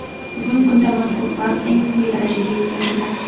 Bugungi kunda mazkur farq eng quyi darajaga yetkazildi.